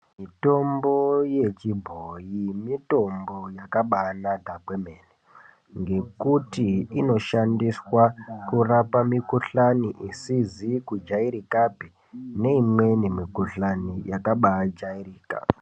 Mitombo yechibhoi mitombo yakabanaka kwemene. Ngekuti inoshandiswa kurapa mikuhlani isizi kujairikapi, neimweni mikuhlani yakabajairika.